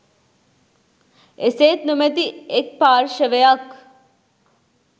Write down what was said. එසේත් නොමැති එක් පාර්ශවයක්